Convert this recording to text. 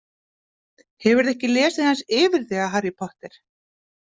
Hefurðu ekki lesið aðeins yfir þig af Harry Potter?